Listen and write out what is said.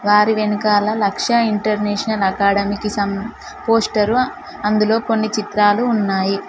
వారి వెనకాల లక్ష్య ఇంటర్నేషనల్ అకాడమీకి సంబంధించిన పోస్టరు అందులో కొన్ని చిత్రాలు ఉన్నాయి.